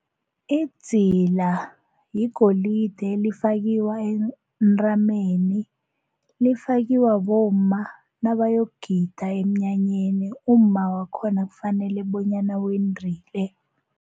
Idzila yigolide lifakwa entameni, lifakwa bomma nabayogida emnyanyeni, umma wakhona kufanele bonyana wendile.